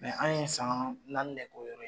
an ye san naani de k'o yɔrɔ